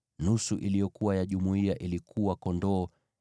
nusu iliyokuwa ya jumuiya, ilikuwa kondoo 337,500,